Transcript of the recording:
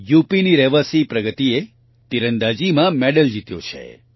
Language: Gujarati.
યુપીની રહેવાસી પ્રગતિએ આર્ચરી તીરંદાજીમાં મેડલ જીત્યો છે